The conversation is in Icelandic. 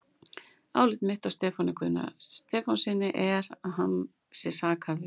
Álit mitt á Stefáni Guðna Stefánssyni er, að hann sé sakhæfur.